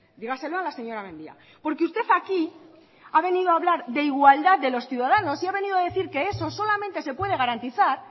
dígaselo a la señora mendia porque usted aquí ha venido a hablar de igualdad de los ciudadanos y ha venido a decir que eso solamente se puede garantizar